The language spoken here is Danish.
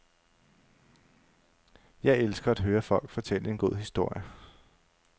Jeg elsker at høre folk fortælle en god historie.